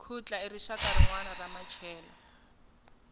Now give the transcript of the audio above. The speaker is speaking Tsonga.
khutla i rixaka rinwana ra machela